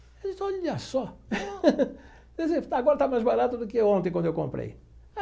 Eu disse, olha só, quer dizer agora está mais barato do que ontem quando eu comprei.